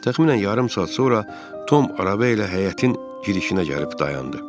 Təxminən yarım saat sonra Tom araba ilə həyətin girişinə gəlib dayandı.